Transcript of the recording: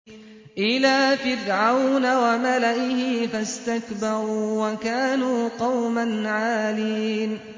إِلَىٰ فِرْعَوْنَ وَمَلَئِهِ فَاسْتَكْبَرُوا وَكَانُوا قَوْمًا عَالِينَ